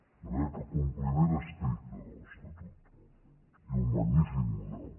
de manera que compliment estricte de l’estatut i un magnífic model